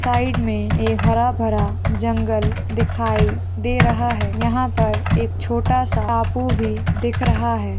Side मे एक हरा भरा जंगल दिखाई दे रहा है यहाँ पर एक छोटा सा टापू भी दिख रहा है।